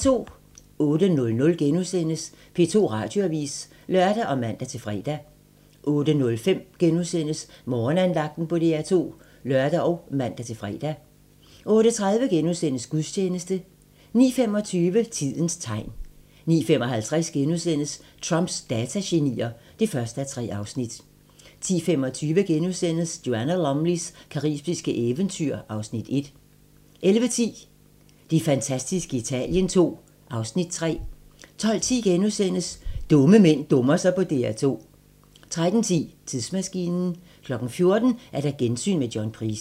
08:00: P2 Radioavis *(lør og man-fre) 08:05: Morgenandagten på DR2 *(lør og man-fre) 08:30: Gudstjeneste * 09:25: Tidens tegn 09:55: Trumps datagenier (1:3)* 10:25: Joanna Lumleys caribiske eventyr (Afs. 1)* 11:10: Det fantastiske Italien II (Afs. 3) 12:10: Dumme mænd dummer sig på DR2 * 13:10: Tidsmaskinen 14:00: Gensyn med John Price